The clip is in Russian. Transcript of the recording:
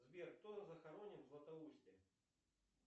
сбер кто захоронен в златоусте